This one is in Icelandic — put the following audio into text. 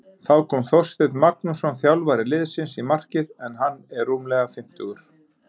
Þá kom Þorsteinn Magnússon þjálfari liðsins í markið en hann er rúmlega fimmtugur.